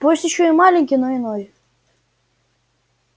пусть ещё и маленький но иной